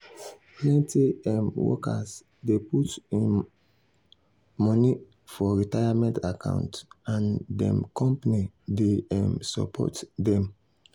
plenty um workers dey put money um for retirement account and dem company dey um support dem.